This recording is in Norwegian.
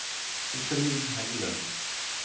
Iselin Heggelund